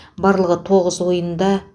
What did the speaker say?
барлығы тоғыз ойында